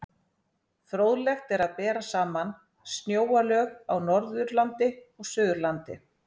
Fróðlegt er að bera saman snjóalög á Norðurlandi og Suðurlandi.